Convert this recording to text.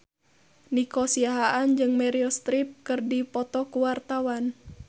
Nico Siahaan jeung Meryl Streep keur dipoto ku wartawan